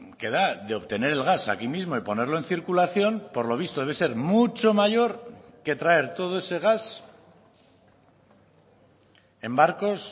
que da de obtener el gas aquí mismo y ponerlo en circulación por lo visto debe ser mucho mayor que traer todo ese gas en barcos